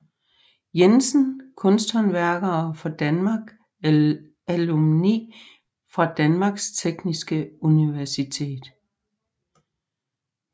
Jensen Kunsthåndværkere fra Danmark Alumni fra Danmarks Tekniske Universitet